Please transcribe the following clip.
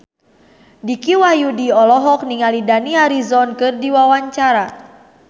Dicky Wahyudi olohok ningali Dani Harrison keur diwawancara